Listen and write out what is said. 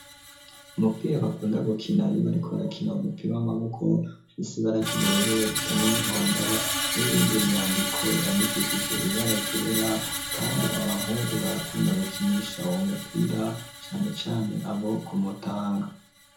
Umupira bakunda gukina iyo barikorakina umupira w'amaboko usibara ry'ubururu irisa n'umuhondo n'ibindi vyandiko vyandikishije ibara ryera, kandi abahungu barakunda gukinisha uwo mupira cane cane abo Kumutanga.